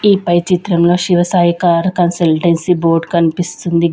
ఈ పై చిత్రంలో Shiva Sai car consultancy board కన్పిస్తుంది.